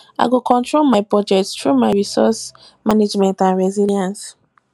i go control my budget through my resources management and resilience